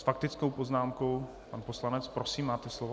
S faktickou poznámkou pan poslanec, prosím, máte slovo.